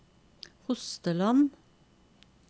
Hosteland